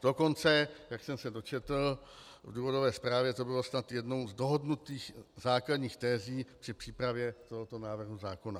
Dokonce, jak jsem se dočetl v důvodové zprávě, to byla snad jedna z dohodnutých základních tezí při přípravě tohoto návrhu zákona.